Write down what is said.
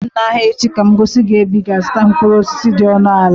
Zute m n'ahịa echi ka m gosi gị ebe ị ga-azụta mkpụrụ osisi dị ọnụ ala